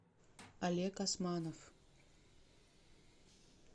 олег османов